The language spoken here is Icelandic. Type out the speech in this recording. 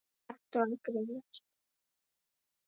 Ertu að grínast?